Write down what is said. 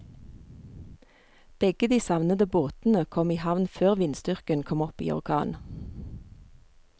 Begge de savnede båtene kom i havn før vindstyrken kom opp i orkan.